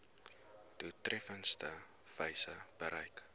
doeltreffendste wyse bereik